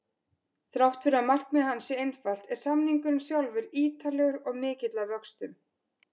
Þrátt fyrir að markmið hans sé einfalt er samningurinn sjálfur ítarlegur og mikill að vöxtum.